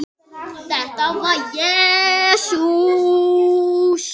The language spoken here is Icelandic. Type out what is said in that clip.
Þetta var Jesús